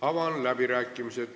Avan läbirääkimised.